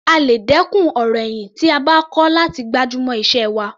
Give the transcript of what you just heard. A lè dẹ́kun ọ̀rọ̀ ẹ̀yìn tí a bá kọ́ láti gbájúmọ́ iṣẹ́ wa.